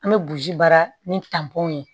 An bɛ buruji baara ni ye